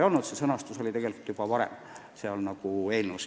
Muudetud eelnõu sõnastus oli tegelikult juba varem olemas.